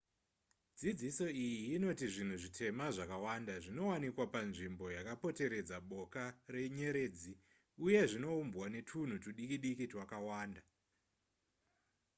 dzidziso iyi inoti zvinhu zvitema zvakawanda zvinowanikwa panzvimbo yakaporeteredza boka renyeredzi uye zvinoumbwa netwunhu twudikidiki twakawanda